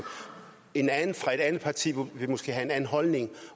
en anden fra et andet parti vil måske have en anden holdning